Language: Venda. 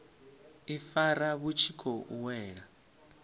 ifara vhu tshi khou wela